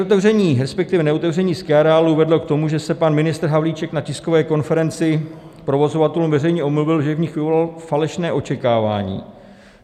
Otevření, respektive neotevření skiareálů vedlo k tomu, že se pan ministr Havlíček na tiskové konferenci provozovatelům veřejně omluvil, že v nich vyvolal falešné očekávání.